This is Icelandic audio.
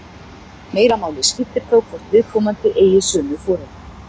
Meira máli skiptir þó hvort viðkomandi eigi sömu foreldra.